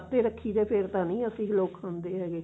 ਰੱਖੀ ਦੇ ਨੇ ਫ਼ੇਰ ਤਾਂ ਨਹੀ ਅਸੀਂ ਲੋਕ ਖਾਂਦੇ